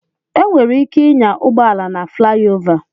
E nwere ike ịnya ụgbọala na flayova.